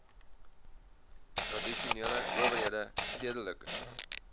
tradisionele owerhede stedelike